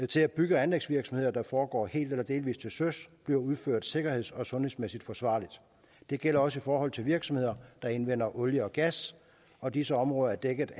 til at bygge og anlægsvirksomheder der foregår helt eller delvis til søs bliver udført sikkerheds og sundhedsmæssigt forsvarligt det gælder også i forhold til virksomheder der indvinder olie og gas og disse områder er dækket